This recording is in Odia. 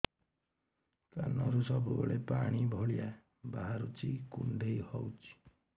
କାନରୁ ସବୁବେଳେ ପାଣି ଭଳିଆ ବାହାରୁଚି କୁଣ୍ଡେଇ ହଉଚି